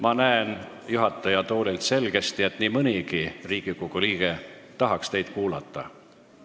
Ma näen juhataja toolilt selgesti, et nii mõnigi Riigikogu liige tahaks teid kuulata.